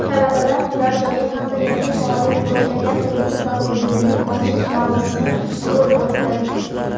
talabalar turar-joyi hamda yangi faoliyat boshlagan "Turizm" fakultetining ochilish marosimi bo‘lib o‘tdi.